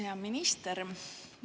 Hea minister!